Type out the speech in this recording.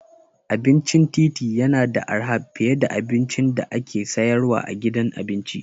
Abincin titi yana da arha fiye da abincin da ake sayarwa a gidan abinci.